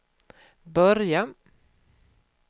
börja